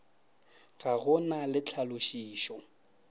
ga go na le tlhalošišo